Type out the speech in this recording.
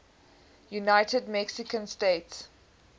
united mexican states